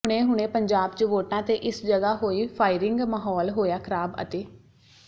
ਹੁਣੇ ਹੁਣੇ ਪੰਜਾਬ ਚ ਵੋਟਾਂ ਤੇ ਇਸ ਜਗ੍ਹਾ ਹੋਈ ਫਾਇਰਿੰਗ ਮਾਹੌਲ ਹੋਇਆ ਖਰਾਬ ਅਤੇ